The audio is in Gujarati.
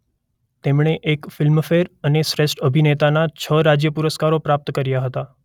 તેમણે એક ફિલ્મફેર અને શ્રેષ્ઠ અભિનેતાના છ રાજ્ય પુરસ્કારો પ્રાપ્ત કર્યા હતા.